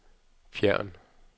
fjern